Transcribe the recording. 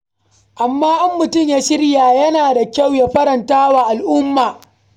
Amma in mutum ya shirya, to yana da kyau ya farantawa al'umma.